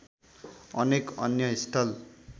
अनेक अन्य स्थल